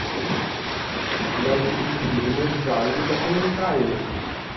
найти фильмы в жанре документальный